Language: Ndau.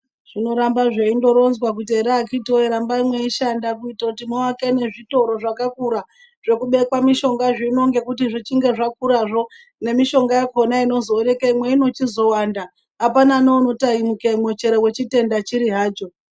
Zvinoramba zveindoronzwa kuti ere akhithi woye rambai mweindoshanda, kuite kuti muake nezvitoro zvakakura, zvokubekwa mishonga zvino ngekuti zvichinge zvakurazvo, nemishonga yakhona inozoonekwamo inochizowanda apana neunotamikemo chero wechitenda chiri hacho.